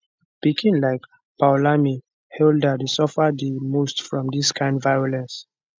pikin like poulami halder dey suffer di most from dis kind violence